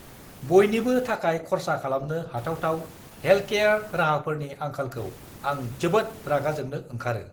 बयनिबो थाखाय खरसा खालामनो हाथावथाव हेल्टकेयार राहाफोरनि आंखालखौ आं जोबोद रागाजोंनो ओंखारो।